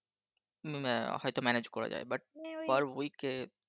হুম হ্যাঁ হয়তো Manage করা যায় But Per Week কে